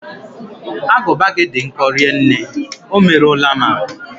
Agụba gị dị nkọ rinne, o merụọla m ahụ